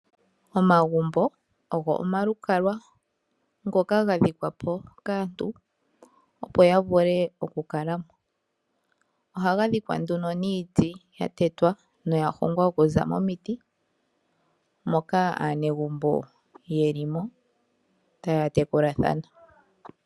Omagumbo ogo omalukalwa ngoka ga dhikwa po kaantu opo ya vule oku kala mo, ohaga dhikwa nduno niiti ya tetwa noya ongwa okuza momiti moka aanegumbo yeli mo taya tekulathana.